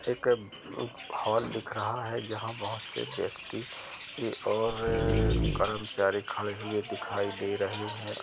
एक अ हॉल दिख रहा है यहाँ बोहत से व्यक्ति और कर्मचारी खड़े हुए दिखाई दे रहे है।